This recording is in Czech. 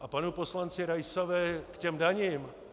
A panu poslanci Raisovi k těm daním.